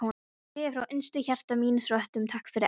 Ég segi frá innstu hjarta míns rótum, takk fyrir allt.